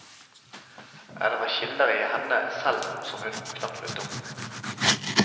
Er det fra kilder i henne selv som hun knapt vet om.